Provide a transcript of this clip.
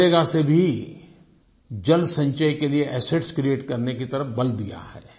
मनरेगा से भी जलसंचय के लिए एसेट्स क्रिएट करने की तरफ बल दिया है